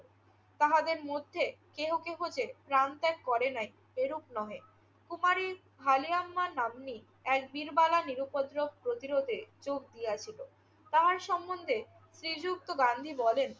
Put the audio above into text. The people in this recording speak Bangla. তাহাদের মধ্যে কেহ কেহ যে প্রাণ ত্যাগ করে নাই এরূপ নহে। কুপারি ফালিয়াম্মা নাম্নী এক বীরবালা নিরুপদ্রব প্রতিরোধে যোগ দিয়াছিল। তাহার সম্মন্ধে শ্রীযুক্ত গান্ধী বলেন.